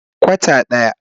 Kwata daya.